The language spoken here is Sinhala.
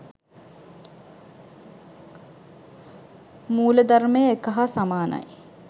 මූලධර්මය එක හා සමානයි.